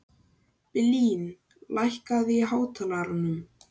Blín, lækkaðu í hátalaranum.